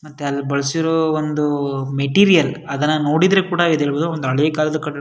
ಮತ್ತೆ ಅಲ್ ಬಳ್ಸಿರೋ ಒಂದು ಮೆಟೀರಿಯಲ್ ನೋಡಿದ್ರೆ ಕೂಡ ಇದ್ ಹೇಳ್ಬಹುದು ಒಂದ್ ಹಳೆ ಕಾಲದ ಕಟ್ಟಡ --